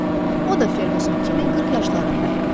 O da Ferquson kimi 40 yaşlarında idi.